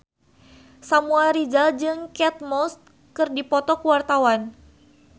Samuel Rizal jeung Kate Moss keur dipoto ku wartawan